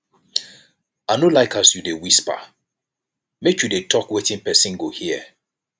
i no like as you dey whisper make you dey tok wetin pesin go hear